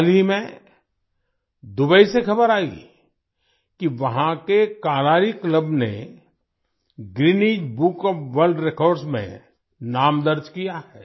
हाल ही में दुबई से खबर आई कि वहाँ के कलारी क्लब ने Guinness book of world records में नाम दर्ज किया है